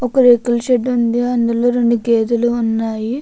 ఒక రేకుల షెడ్డు ఉంది. అందులో రెండు గేదెలు ఉన్నాయి.